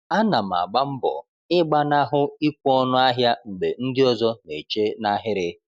Ana m agba mbọ ịgbanahụ ikwe ọnụ ahịa mgbe ndị ọzọ na-eche n’ahịrị.